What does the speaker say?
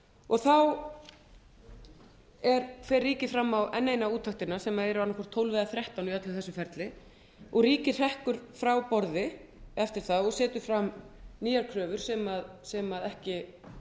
og þá fer ríkið fram á enn eina úttektina sem er auðvitað tólf eða þrettán í öllu þessu ferli og ríkið hrekkur frá borði eftir það og setur fram nýjar kröfur sem ekki